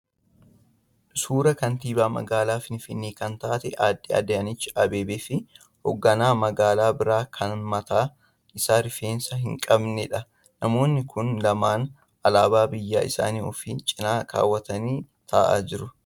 Suuraa kantiibaa magaalaa Finfinnee kan taate adde Adaanech Abeebee fi ogganaa magaalaa biraa kan mataan isaa rifeensa hin qabneedha. Namoonni kun lamaaan alaabaa biyya isaanii ofi cina kaawwatanii ta'aa jiru.